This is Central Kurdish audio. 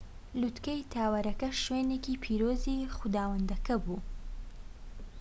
لووتکەی تاوەرەکە شوێنێکی پیرۆزی خوداوەندەکە بووە